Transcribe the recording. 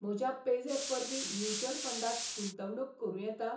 म्हज्या पेझॅप वरवीं म्युच्युअल फंडांत गुंतवणूक करूं येता?